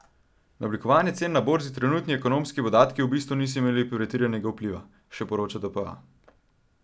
Na oblikovanje cen na borzi trenutni ekonomski podatki v bistvu niso imeli pretiranega vpliva, še poroča dpa.